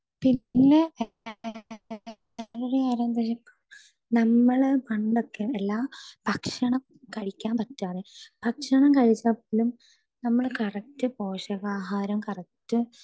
speaker 2 പിന്നെ family ആവുമ്പോഴ് നമ്മള് പണ്ടൊക്കെ എല്ലാ ഭക്ഷണം കഴിക്കാൻ പറ്റാതെ ഭക്ഷണം കഴിച്ചാൽ പോലും നമ്മള് കറക്റ്റ് പോഷകാഹാരം കറക്റ്റ്